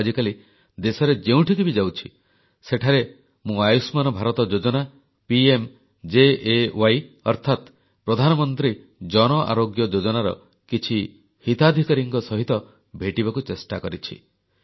ମୁଁ ଆଜିକାଲି ଦେଶରେ ଯେଉଁଠିକି ବି ଯାଉଛି ସେଠାରେ ମୁଁ ଆୟୁଷ୍ମାନ ଭାରତ ଯୋଜନା ପିଏମଜେଏୱାଇ ଅର୍ଥାତ୍ ପ୍ରଧାନମନ୍ତ୍ରୀ ଜନଆରୋଗ୍ୟ ଯୋଜନାର କିଛି ହିତାଧିକାରୀଙ୍କ ସହିତ ଭେଟିବାକୁ ଚେଷ୍ଟା କରିଛି